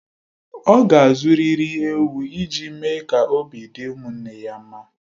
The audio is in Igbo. Ọ ga-azụrịrị ewu ị ji mee ka obi dị ụmụnne di ya mma